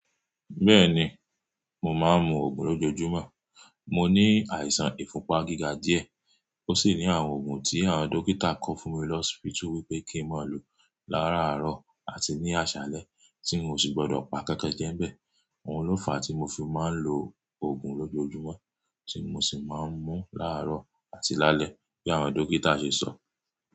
Bẹ́ẹ̀ni, mo máa ń mu Ògùn lójoojúmọ́. Mo ní àìsàn ìfúnpá gíga díẹ̀, ó sì ní àwọn Ògùn tí àwọn dókítà kọ fún mi lọ́spituú wí pé kí n má lò láraárọ̀ àti ní àṣálẹ́ tí n ò sí gbọdọ̀ pa nkankan jẹ́ ń bẹ. Ohun lóòfà tí mo fi máa ń lo ògùn lójoojúmọ́, tí mo sì máa ń mú láàárọ̀ àti lálẹ́ bí àwọn dókítà ṣe sọ.